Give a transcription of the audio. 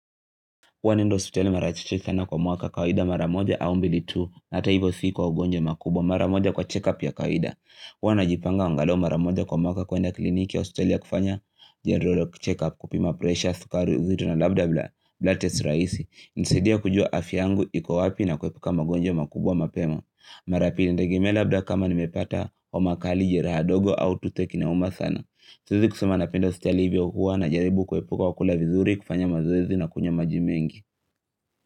Huwa naenda hospitali mara chache sana kwa mwaka kawaida mara moja au mbili tu. Hata hivyo si kwa ugonjwa makubwa mara moja kwa check up ya kawaida huwa najipanga anagalau mara moja kwa mwaka kuenda kliniki hospitali ya kufanya general check up kupima presha, sukari uzito na labda blood test rahisi. Inasaidia kujua afya yangu iko wapi na kuepuka magonjwa makubwa mapema. Mara pili inategemea labda kama nimepata homa kali jeraha dogo au toothache inauma sana. Siwezi kusema napenda hospitali hivyo huwa najaribu kuepuka kwa kula vizuri kufanya mazoezi na kunywa maji mengi.